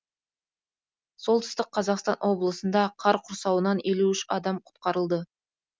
солтүстік қазақстан облысында қар құрсауынан елу үш адам құтқарылды